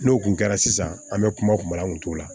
N'o kun kɛra sisan an bɛ kumala kun t'o la